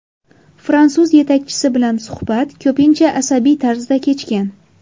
Fransuz yetakchisi bilan suhbat ko‘pincha asabiy tarzda kechgan.